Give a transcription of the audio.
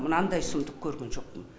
мынандай сұмдық көрген жоқпын